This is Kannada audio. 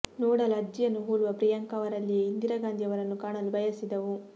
ನೋಡಲು ಅಜ್ಜಿಯನ್ನು ಹೋಲುವ ಪ್ರಿಯಾಂಕ ಅವರಲ್ಲಿಯೇ ಇಂದಿರಾಗಾಂಧಿ ಅವರನ್ನು ಕಾಣಲು ಬಯಸಿದವು